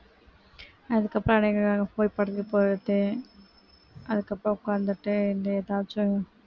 அதுக்கப்புறம் அதுக்கப்புறம் உட்கார்ந்துட்டு இந்த ஏதாச்சும்